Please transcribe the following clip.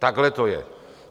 Takhle to je.